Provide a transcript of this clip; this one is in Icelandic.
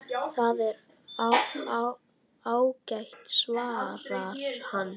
Það er ágætt svarar hann.